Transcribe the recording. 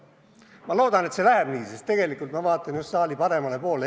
Ma loodan, et see läheb nii, sest tegelikult ma vaatan just saali paremale poolele.